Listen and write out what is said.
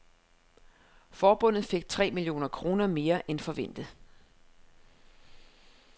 Forbundet fik tre millioner kroner mere end forventet.